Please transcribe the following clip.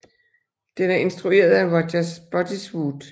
Den er instrueret af Roger Spottiswoode